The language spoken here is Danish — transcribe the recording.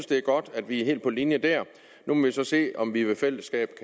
det er godt at vi er helt på linje der nu må vi så se om vi ved fælles hjælp